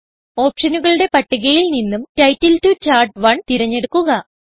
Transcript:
ഓപ്ഷനുകളുടെ പട്ടികയിൽ നിന്നും title to chart one തിരഞ്ഞെടുക്കുക